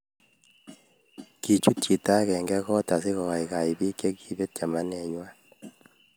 Kichuut chito agenge koot asigosaisai biik chekipeet chamanwengwai